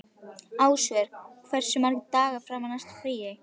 Ásvör, hversu margir dagar fram að næsta fríi?